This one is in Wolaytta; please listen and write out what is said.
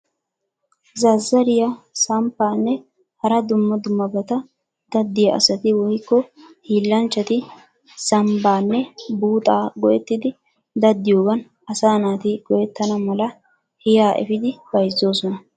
Zazzariya, samppaanne hara dumma dummabata daddiya asati woyikko hiillanchchati zambbaanne buuxaa go'ettidi daddiyoogan asaa naati go'ettana mala hiya epiidi bayizzoosona.